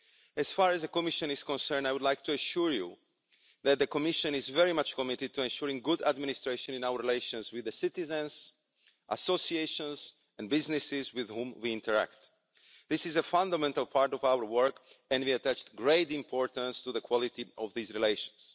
As far as the Commission is concerned, I would like to assure you that the Commission is very much committed to ensuring good administration in our relations with the citizens, associations and businesses with whom we interact. This is a fundamental part of our work, and we attach great importance to the quality of these relations.